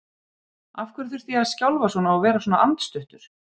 Af hverju þurfti ég að skjálfa svona og vera svona andstuttur?